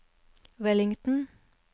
Wellington